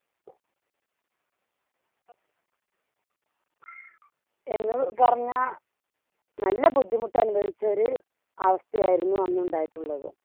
എന്ന് പറഞ്ഞാ നല്ല ബുദ്ധിമുട്ട് അനുഭവിച്ച ഒരു അവസ്ഥയായിരുന്നു അന്നുണ്ടായിട്ടുള്ളത്.